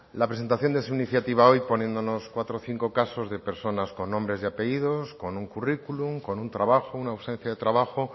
la presentación de su iniciativa hoy poniéndonos cuatro o cinco casos de personas con nombres y apellidos con un currículum con un trabajo una ausencia de trabajo